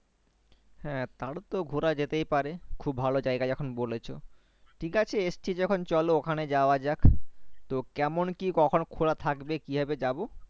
হ্যাঁ তাহলে তো ঘোড়া যেতেই পারে খুব ভালো জায়গা যখন বলেছো ঠিক আছেই এসছি যখন চলো ওখানে যাওয়া যাক তো কেমন কি কখন খোলা থাকবে কি ভাবে যাবো